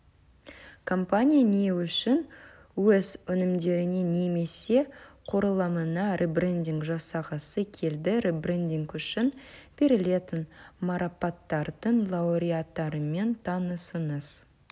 компания не үшін өз өнімдеріне немесе құрылымына ребрендинг жасағысы келді ребрендинг үшін берілетін марапаттардың лауреаттарымен танысыңыз